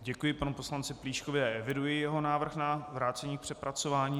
Děkuji panu poslanci Plíškovi a eviduji jeho návrh na vrácení k přepracování.